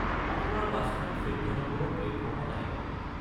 আপোনাৰ বাছখন চৈধ্য নম্বৰৰ প্লেটফৰ্মত আহি পাব।